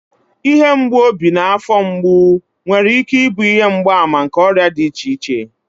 Ihe mgbu obi na afọ mgbu nwere ike ịbụ ihe mgbaàmà nke ọrịa dị iche iche